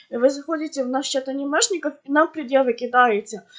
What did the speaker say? вы заходите в наш чат анимешников и нам предъявы кидаете